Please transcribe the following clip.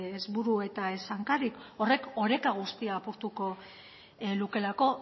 ez buru eta ez hankarik horrek oreka guztia apurtuko lukeelako